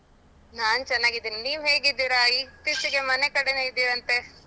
ನಾನ್ ಚೆನ್ನಾಗಿದ್ದೀನಿ, ನೀವ್ ಹೇಗಿದ್ದೀರಾ ಇತ್ತೀಚಿಗೆ ಮನೆ ಕಡೆನೇ ಇದ್ದೀರಂತೆ.